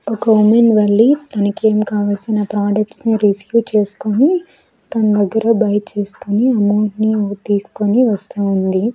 ఒక విమెన్ వెళ్లి తనకి ఏం కావలసిన ప్రోడక్ట్స్ ని రిసీవ్ చేసుకొని తన దగ్గర బై చేసుకొని అమౌంట్ ని తీసుకొని వస్తూ ఉంది.